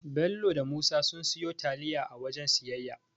Bello da Musa sun siyo taliya a waken siyayya